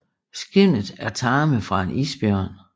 Skindet er tarme fra en isbjørn